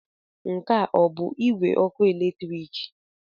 Nke a ọ bụ igwe ọkụ eletrik?